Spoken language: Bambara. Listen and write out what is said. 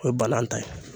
O ye balan ta ye